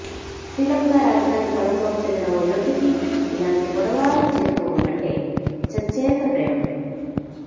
శ్రీలంక రాజధాని కొలంబోకు చెందిన ఓ యువతికి ఇలాంటి పొడవాటి చీరకొంగు అంటే చచ్చేంత ప్రేమ